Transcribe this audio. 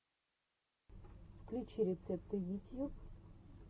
включи рецепты ютьюб